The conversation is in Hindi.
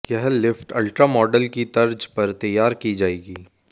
यह लिफ्ट अल्ट्रा मॉडल की तर्ज पर तैयार की जाएगी